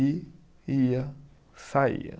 E ia, saía.